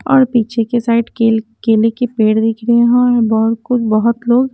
और पीछे के साइड केल केले के पेड़ दिख रहे है और बहोत लोग--